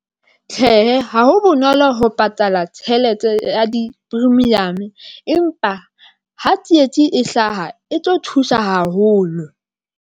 Tjhehe, ha ho bonolo ho patala tjhelete ya di premium, empa ha tsietsi e hlaha e tlo thusa haholo.